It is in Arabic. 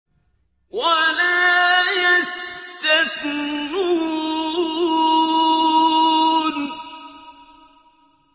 وَلَا يَسْتَثْنُونَ